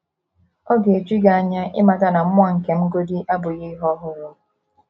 Ọ̀ ga - eju gị anya ịmata na mmụọ nke m godị abụghị ihe ọhụrụ?